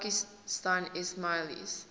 pakistani ismailis